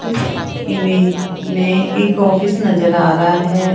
इस इमेज में एक ऑफिस नजर आ रहा है।